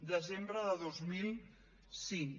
desembre de dos mil cinc